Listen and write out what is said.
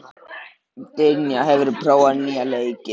Dynja, hefur þú prófað nýja leikinn?